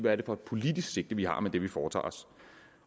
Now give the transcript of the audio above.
er det for et politisk sigte vi har med det vi foretager os